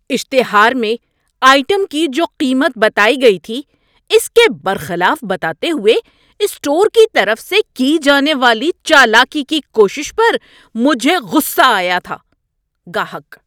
اشتہار میں آئٹم کی جو قیمت بتائی گئی تھی اس کے برخلاف بتاتے ہوئے اسٹور کی طرف سے کی جانے والی چالاکی کی کوشش پر مجھے غصہ آیا تھا۔ (گاہک)